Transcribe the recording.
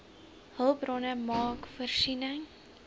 hulpbronne maak voorsiening